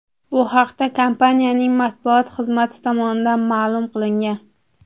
Bu haqda kompaniyaning matbuot xizmati tomonidan ma’lum qilingan.